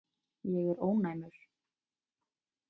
Ég er ónæmur.